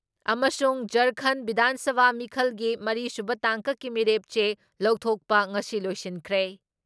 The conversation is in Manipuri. ꯑꯃꯁꯨꯡ ꯖꯔꯈꯟ ꯕꯤꯙꯥꯟ ꯁꯚꯥ ꯃꯤꯈꯜꯒꯤ ꯃꯔꯤ ꯁꯨꯕ ꯇꯥꯡꯀꯛꯀꯤ ꯃꯤꯔꯦꯞ ꯆꯦ ꯂꯧꯊꯣꯛꯄ ꯉꯁꯤ ꯂꯣꯏꯁꯤꯟꯈ꯭ꯔꯦ ꯫